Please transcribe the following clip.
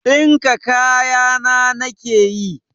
Dinka kaya na nake yi.